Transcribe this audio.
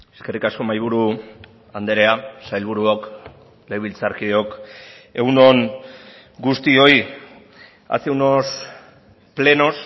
eskerrik asko mahaiburu andrea sailburuok legebiltzarkideok egun on guztioi hace unos plenos